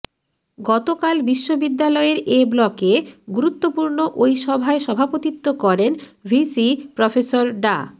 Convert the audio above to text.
গতকাল বিশ্ববিদ্যালয়ের এ ব্লকে গুরুত্বপূর্ণ ওই সভায় সভাপতিত্ব করেন ভিসি প্রফেসর ডা